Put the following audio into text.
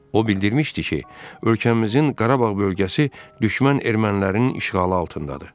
O bildirmişdi ki, ölkəmizin Qarabağ bölgəsi düşmən ermənilərinin işğalı altındadır.